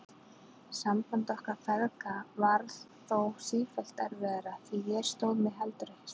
Samband okkar feðga varð þó sífellt erfiðara því ég stóð mig heldur ekki í starfi.